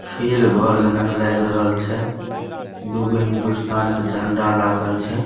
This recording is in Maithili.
खेल घर जना के लाग रहल छै दू गो हिंदुस्तान के झंडा लागल छै।